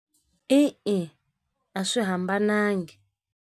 E-e a swi hambananga.